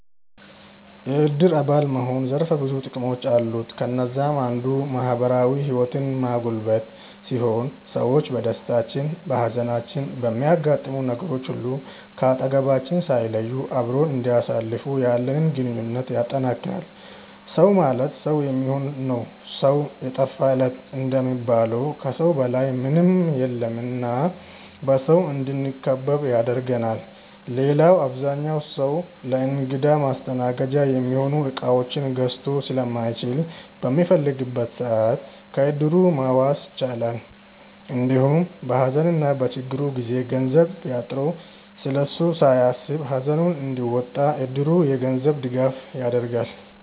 የዕድር አባል መሆን ዘርፈ ብዙ ጥቅሞች አሉት። ከነዛም አንዱ ማህበራዊ ህይወትን ማጎልበት ሲሆን ሰዎች በደስታችን፣ በሃዘናችን፣ በሚያጋጥሙን ነገሮች ሁሉ ከአጠገባችን ሳይለዩ አብረውን እንዲያሳልፉ ያለንን ግንኙነት ያጠነክራል። “ሰው ማለት ሰው የሚሆን ነው ሰው የጠፋ ለት” እንደሚባለው ከሰው በላይ ምንም የለም እና በሰው እንድንከበብ ያደርገናል። ሌላው አብዛኛው ሰው ለእንግዳ ማስተናገጃ የሚሆኑ እቃዎችን ገዝቶ ስለማይችል በሚፈልግበት ሰዓት ከዕድሩ መዋስ ይችላል። እንዲሁም በሃዘንና በችግሩ ጊዜ ገንዘብ ቢያጥረው ስለሱ ሳያስብ ሃዘኑን እንዲወጣ እድሩ የገንዘብ ድጋፍ ያደርጋል።